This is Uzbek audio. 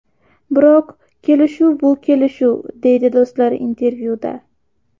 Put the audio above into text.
Biroq kelishuv bu kelishuv”, deydi do‘stlar intervyuda.